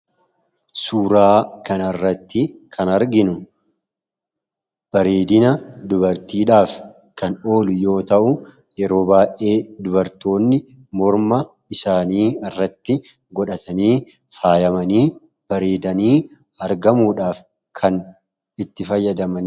Suuraa kanarratti kan arginu bareedina dubartiidhaaf kan oolu yoo ta'u, yeroo baay'ee dubartoonni morma isaanii irratti godhatanii faayamanii , bareedanii argamuudhaan kan itti fayyadamanidha.